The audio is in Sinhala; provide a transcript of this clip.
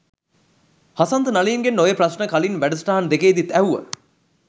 හසන්ත නලින්ගෙන් ඔය ප්‍රශ්න කලින් වැඩසටහන් දෙකේදිත් ඇහුව.